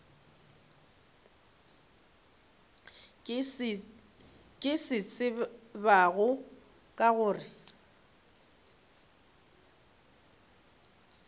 ke se tsebago ke gore